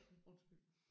Undskyld